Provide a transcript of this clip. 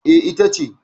E, ita ce.